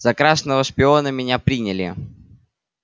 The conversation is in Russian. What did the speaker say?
за красного шпиона меня приняли